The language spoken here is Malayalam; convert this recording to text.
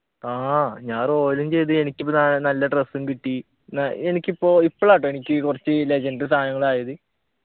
ആഹ് ഞാൻ royal ഉം ചെയ്ത് എനിക്കിപ്പ ന നല്ല dress ഉം കിട്ടി ന്ന എനിക്കിപ്പോ ഇപ്പളാട്ടോ എനിക്ക് കുറച്ച് legendary സാധനങ്ങൾ ആയത്